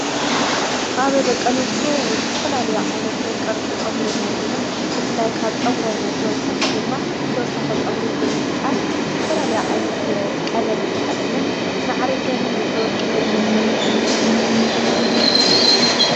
ኣብ ደቂ ኣነስትዮ ስተፈላልዮ ዓይነት ቕርጽ ጸጕሪ ነርኢና ብፍላይ ካብ ፀጕረን ተወሳኽ ድማ ተወሳኽ ፀጕሪ ብምፍጣር ዝትፈላልዩ ዓይነት ቐለም ተጠቕምን መዕሪገንን ተወቅበንን ንርእዩሉ ዂነታ ቲና ንርእ ዘለና።